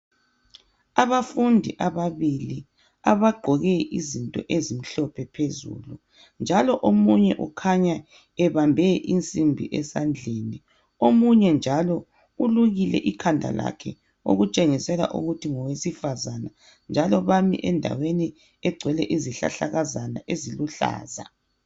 Abafundi ababili abagqoke izinto ezimhlophe phezulu, njalo omunye ukhanya ebambe insimbi esandleni omunye njalo ulukile ikhanda lakhe okutshengisela ukuthi ngowesifazana, njalo bami endaweni egcwele izihlahlakazana eziluhlaza.